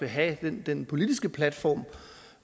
have den politiske platform